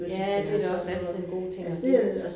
Ja det da også altid en god ting at give